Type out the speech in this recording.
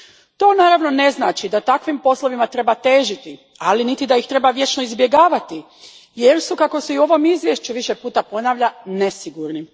To, naravno, ne znači da takvim poslovima treba težiti, ali niti da ih treba vječno izbjegavati jer su, kako se i u ovom izvješću više puta ponavlja nesigurni.